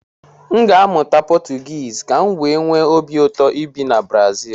M ga-amụta Potugisi kam wee nwe obi ụtọ ibi na Brazil